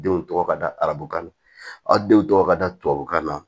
Denw tɔgɔ ka da arabukan na aw denw tɔgɔ ka da tubabukan na